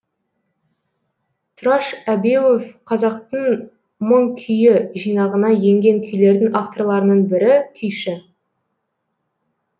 тұраш әбеуов қазақтың мың күйі жинағына енген күйлердің авторларының бірі күйші